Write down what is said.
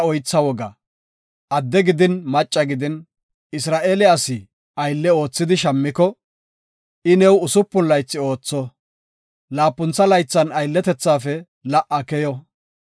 Adde gidin macca gidin, Isra7eele asi, aylle oothidi shammiko, I new usupun laythi ootho; laapuntha laythan aylletethafe la77a keyo.